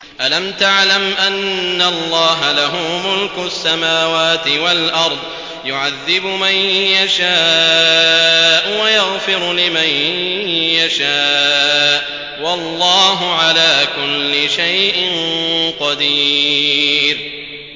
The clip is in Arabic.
أَلَمْ تَعْلَمْ أَنَّ اللَّهَ لَهُ مُلْكُ السَّمَاوَاتِ وَالْأَرْضِ يُعَذِّبُ مَن يَشَاءُ وَيَغْفِرُ لِمَن يَشَاءُ ۗ وَاللَّهُ عَلَىٰ كُلِّ شَيْءٍ قَدِيرٌ